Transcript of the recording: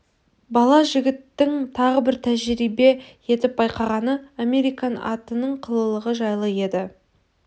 бала жігіттің тағы бір тәжірибе етіп байқағаны американ атының қылығы жайлы еді